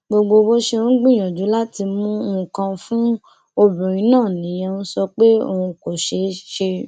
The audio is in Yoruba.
gbogbo bó ṣe ń gbìyànjú láti mú nǹkan fún obìnrin náà nìyẹn ń sọ pé òun kò ṣe ṣe